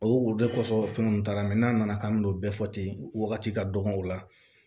O ye o de kosɔn fɛn ninnu taara mɛ n'a nana k'an bɛ n'o bɛɛ fɔ ten wagati ka dɔgɔn o la